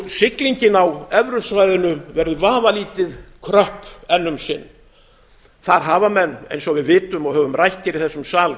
siglingin á evrusvæðinu verður vafalítið kröpp enn um sinn þar hafa menn eins og við vitum og höfum rætt hér í þessum sal